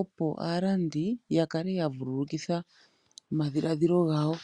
opo aalandi yakale yavululukitha omadhiladhilo gawo.